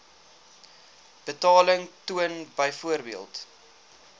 betaling toon byvoorbeeld